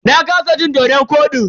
Na kasa cin dodon kodin.